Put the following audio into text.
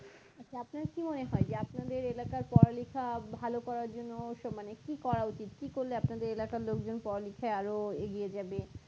আচ্ছা আপনার কি মনে হয় যে আপনাদের এলাকার পড়ালেখা ভালো করার জন্য অবশ্য মানে কি করা উচিত কি করলে আপনাদের এলাকার লোক জন পড়ালেখায় আরো এগিয়ে যাবে